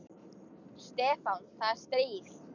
Stefán, það er stríð.